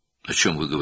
Nədən danışırsınız?